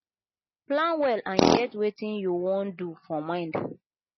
plan well and get wetin you wan do for mind